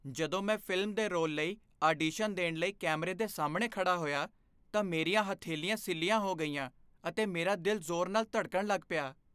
ਜਦੋਂ ਮੈਂ ਫ਼ਿਲਮ ਦੇ ਰੋਲ ਲਈ ਆਡੀਸ਼ਨ ਦੇਣ ਲਈ ਕੈਮਰੇ ਦੇ ਸਾਹਮਣੇ ਖੜ੍ਹਾ ਹੋਇਆ ਤਾਂ ਮੇਰੀਆਂ ਹਥੇਲੀਆਂ ਸਿੱਲ੍ਹਿਆ ਹੋ ਗਈਆਂ ਅਤੇ ਮੇਰਾ ਦਿਲ ਜ਼ੋਰ ਨਾਲ ਧੜਕਣ ਲੱਗ ਪਿਆ ।